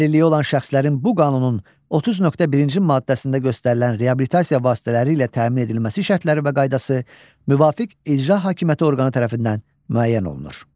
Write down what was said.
Əlilliyi olan şəxslərin bu qanunun 30.1-ci maddəsində göstərilən reabilitasiya vasitələri ilə təmin edilməsi şərtləri və qaydası müvafiq icra hakimiyyəti orqanı tərəfindən müəyyən olunur.